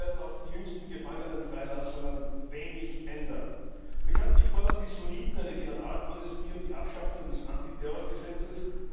Daran werden auch die jüngsten Gefangenenfreilassungen wenig ändern. Bekanntlich fordern die Sunniten eine Generalamnestie und die Abschaffung des Antiterrorgesetzes.